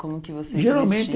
Como que vocês se vesti Geralmente